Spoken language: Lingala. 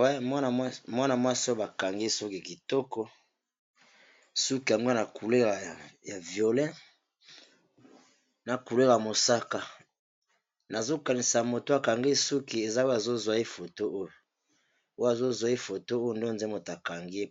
Wana mwana mwasi bakangi suki kitoko, suki yango eza na couleur ya violet, na couleur ya mosaka, nazokanisa mutu akangi suki eza oyo azo zwa ye foto, oyo azozwa ye foto oyo nde eza mutu akangi ye ,